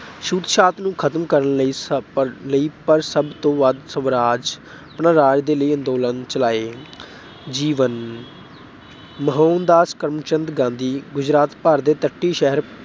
ਛੂਤ-ਛਾਤ ਨੂੰ ਖਤਮ ਕਰਨ ਲਈ ਸਭ ਪਰ ਲਈ ਅਹ ਪਰ ਸਭ ਤੋਂ ਵੱਧ ਸਵਰਾਜ ਅਹ ਸਵਰਾਜ ਦੇ ਲਈ ਅੰਦੋਲਨ ਚਲਾਏ। ਜੀਵਨ ਮੋਹਨਦਾਸ ਕਰਮਚੰਦ ਗਾਂਧੀ ਗੁਜਰਾਤ ਭਾਰਤ ਦੇ ਤੱਟੀ ਸ਼ਹਿਰ